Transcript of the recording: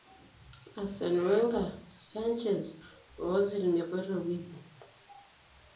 Arsene Wenger:Sanchez o Ozil mepoito aiweji.